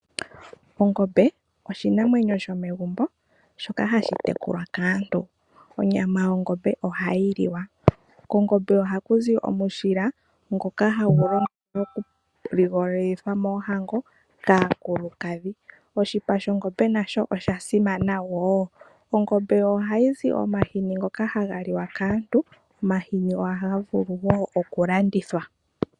Ongombe oshinamwenyo shomegumbo shoka hashi tekulwa kaantu. Onyama yongombe ohayi liwa . Kongombe ohaku zi omushila ngoka hagu longithwa okuligolithwa moohango kaakulukadhi . Oshipa shongombe nasho osha simana woo . Ongombe ohayi zi omahini ngoka haga liwa kaantu go ohaga vulu woo okulandithwa.